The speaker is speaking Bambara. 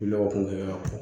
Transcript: Lɔgɔ kun y'a kun